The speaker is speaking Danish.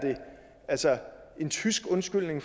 en tysk undskyldning